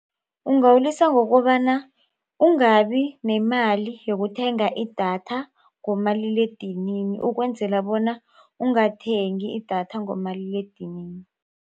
Ungawulisa ngokobana ungabi nemali yokuthenga idatha ngomaliledinini ukwenzela bona ungathengi datha ngomaliledinini.